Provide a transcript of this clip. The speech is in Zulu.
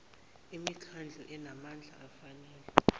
imikhandlu enamandla afanele